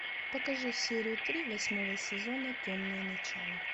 покажи серию три восьмого сезона темные начала